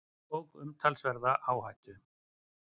Tók umtalsverða áhættu